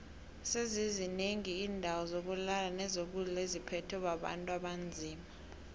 sezizi nengi indawo zokulala nezokudlo etziphethwe bontu abanzima